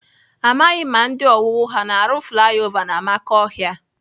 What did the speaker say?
Amaghị m ma ndị owuwu ha na-arụ flaya ova n'amakọhịa.